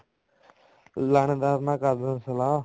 ਲਾਣੇਦਾਰ ਨਾਲ ਕਰਦਾਂ ਸਲਾਹ